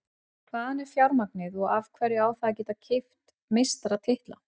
Hvaðan er fjármagnið og af hverju á það að geta keypt meistaratitla?